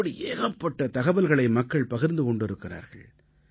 இப்படி ஏகப்பட்ட தகவல்களை மக்கள் பகிர்ந்து கொண்டிருக்கிறார்கள்